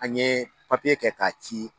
An ye papiye kɛ k'a ci